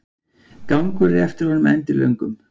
Gangur eftir honum endilöngum.